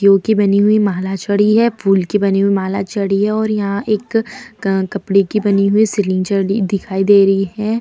यो की बनी हुई माला चढ़ी है फूल की बनी हुई माला चढ़ी है और यहाँ एक कपड़े की बनी हुई सीलिंग च दिखाई दे रही है।